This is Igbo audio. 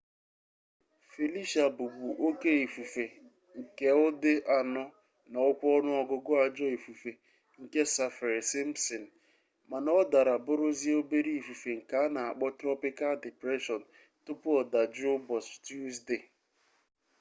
felicia bu bu oke ifufe nke udi 4 na okwa onuogugu ajo ifufe nke saffir-simpson mana o dara buruzia obere ifufe nke ana akpo tropikal depression tupu odajuo ubochi tuzdee